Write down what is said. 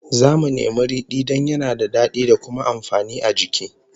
Zamu nemi ridi don yana da dadi da kuma amfani a jiki